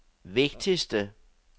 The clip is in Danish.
vigtigste